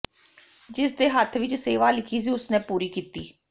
ਜਿਸਦੇ ਹੱਥ ਵਿੱਚ ਸੇਵਾ ਲਿਖੀ ਸੀ ਉਸ ਨੇ ਪੂਰੀ ਕੀਤੀ